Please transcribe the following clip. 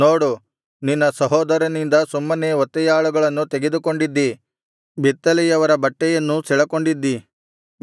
ನೋಡು ನಿನ್ನ ಸಹೋದರನಿಂದ ಸುಮ್ಮನೆ ಒತ್ತೆಯಾಳುಗಳನ್ನು ತೆಗೆದುಕೊಂಡಿದ್ದಿ ಬೆತ್ತಲೆಯವರ ಬಟ್ಟೆಯನ್ನೂ ಸೆಳಕೊಂಡಿದ್ದಿ